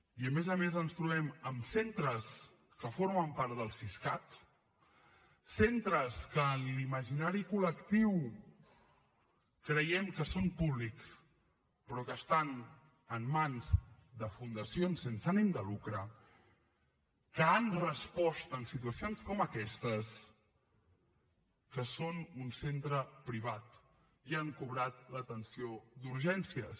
i a més a més ens trobem amb centres que formen part del siscat centres que en l’imaginari col·lectiu creiem que són públics però que estan en mans de fundacions sense ànim de lucre que han respost en situacions com aquestes que són un centre privat i han cobrat l’atenció d’urgències